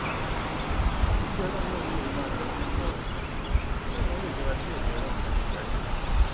òjíṣẹ ọlọrun náà ni òun máa lọọ jíṣẹ ọhún láwọn ilé ìjọba bí ẹmí ọlọrun bá ṣe darí òun